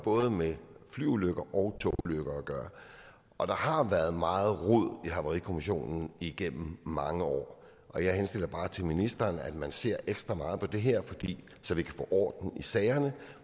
både med flyulykker og togulykker at gøre og der har været meget rod i havarikommissionen igennem mange år jeg henstiller bare til ministeren at man ser ekstra meget på det her så vi kan få orden i sagerne